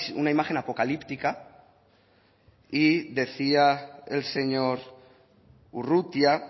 una imagen apocalíptica y decía el señor urrutia